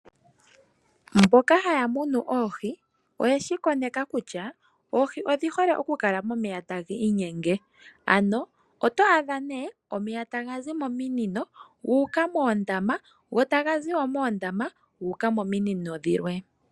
Mboka ha ya munu oohi, oye shi koneka kutya oohi odhi hole okukala momeya ta ga inyenge. Ano oto adha nee omeya ta ga zi mominino gu uka moondama go ta ga zi wo moondama gu uka mominino dhilwe.